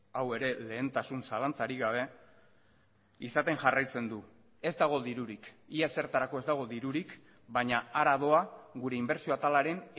hau ere lehentasun zalantzarik gabe izaten jarraitzen du ez dago dirurik ia ezertarako ez dago dirurik baina hara doa gure inbertsio atalaren